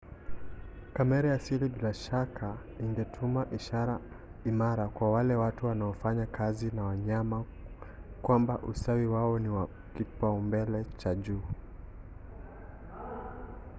"kamera ya siri bila shaka ingetuma ishara imara kwa wale watu wanaofanya kazi na wanyama kwamba ustawi wao ni wa kipaumbele cha juu.